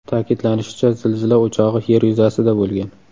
Ta’kidlanishicha, zilzila o‘chog‘i Yer yuzasida bo‘lgan.